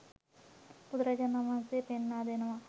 බුදුරජාණන් වහන්සේ පෙන්වා දෙනවා